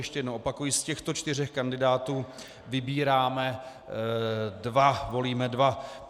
Ještě jednou opakuji, z těchto čtyř kandidátů vybíráme dva, volíme dva.